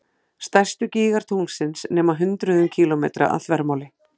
Stærstu gígar tunglsins nema hundruðum kílómetra að þvermáli.